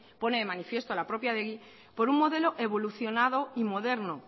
pone de manifiesto la propia adegi por un modelo evolucionado y moderno